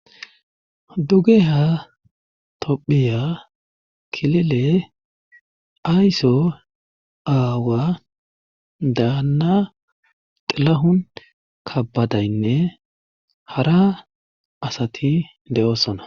duge ha tophiya kilile aysso aawa daanna xilahun kabadaynne hara asati de7oosona